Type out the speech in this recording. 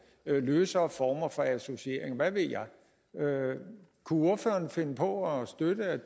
løsere former for associering eller hvad ved jeg kunne ordføreren finde på at støtte at